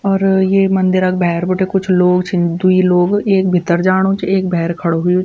और ये मंदिर क भैर बटे कुछ लोग छीन द्वि लोग एक भीतर जाणू च एक भैर खडू हुयुं।